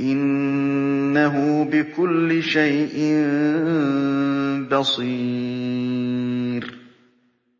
إِنَّهُ بِكُلِّ شَيْءٍ بَصِيرٌ